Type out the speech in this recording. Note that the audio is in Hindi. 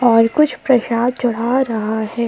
और कुछ प्रसाद चढ़ा रहा है।